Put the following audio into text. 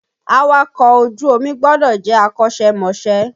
Àwakọ̀ ojú omi gbọdọ̀ jẹ́ akọṣẹ́ mọṣẹ́